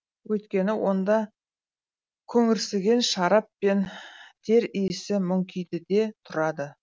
өйткені онда көңірсіген шарап пен тер иісі мүңкиді де тұрады